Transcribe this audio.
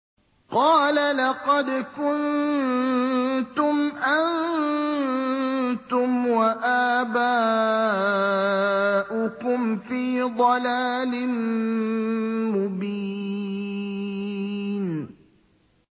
قَالَ لَقَدْ كُنتُمْ أَنتُمْ وَآبَاؤُكُمْ فِي ضَلَالٍ مُّبِينٍ